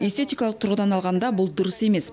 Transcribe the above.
эстетикалық тұрғыдан алғанда бұл дұрыс емес